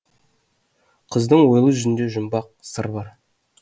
қыздың ойлы жүзінде жұмбақ сыр бар